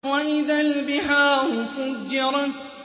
وَإِذَا الْبِحَارُ فُجِّرَتْ